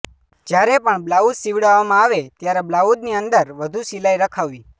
જ્યારે પણ બ્લાઉઝ સિવડાવવા મા આવે ત્યારે બ્લાઉઝ ની અંદર વધુ સિલાઈ રખાવવી